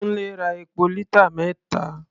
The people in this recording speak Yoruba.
Kúńlé ra epo lítà mẹ́ta.